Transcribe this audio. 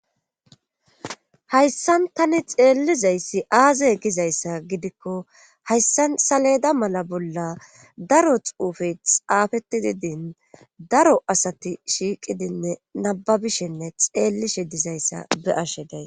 Hayssan tani xeellizayssi aazay gizayssa gidikko hayssan saleda mala bolla daro xuufe xaafeti didin daro asati shiiqidinne nababishinne xeellishe dizayssa be ashe day.